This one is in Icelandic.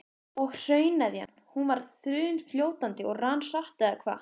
Og hrauneðjan, hún var þunnfljótandi og rann hratt eða hvað?